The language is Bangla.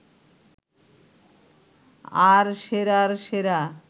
আর সেরার সেরা